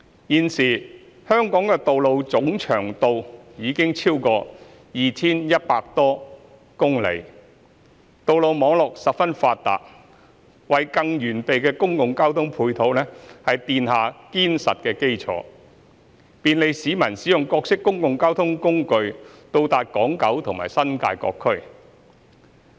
現時，香港道路的總長度已超過 2,100 多公里，道路網絡十分發達，為更完備的公共交通配套奠下堅實的基礎，便利市民使用各式公共交通工具到達港、九和新界各區。